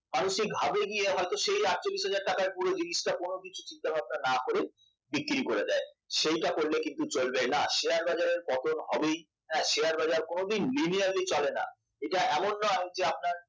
মানুষ সেই ঘাবড়ে গিয়ে সেই আটচল্লিশ হাজার টাকা টার পুরো জিনিসটাই চিন্তাভাবনা না করে বিক্রি করে দেয় সেটা করলে কিন্তু চলবে না শেয়ার বাজারের পতন হবেই হ্যাঁ শেয়ার বাজার কোনদিন linearly চলে না এটা এমন নয় যে